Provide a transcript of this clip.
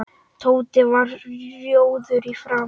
Tóti varð rjóður í framan.